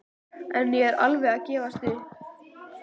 Ég er alveg að gefast upp.